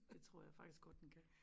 Det tror jeg faktisk godt den kan